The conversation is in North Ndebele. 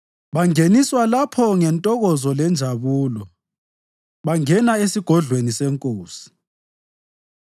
Bangeniswa lapho ngentokozo lenjabulo; bangena esigodlweni senkosi.